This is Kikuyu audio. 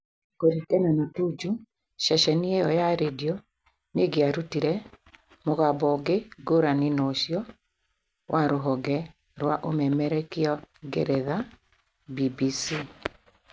Kũringana na Tuju , ceceni iyo ya redio nĩ ĩngĩarutire mũgambo ũngĩ ngũrani na ũciio wa rũhonge rwa umemerekia ngeretha(BBC)